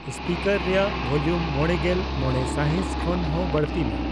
speaker ᱨᱮᱭᱟᱜ ᱵᱷᱚᱞᱤᱭᱟᱢ ᱢᱚᱬᱮᱜᱮᱞ ᱢᱚᱲᱮ ᱥᱟᱭᱦᱤᱭ ᱠᱷᱚᱱ ᱦᱚᱸ ᱵᱟᱲᱛᱤ ᱢᱮ